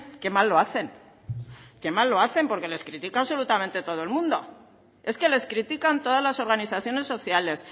qué mal lo hacen qué mal lo hacen porque les critica absolutamente todo el mundo es que les critican todas las organizaciones sociales